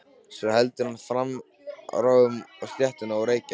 Svo heldur hann áfram að ráfa um stéttina og reykja.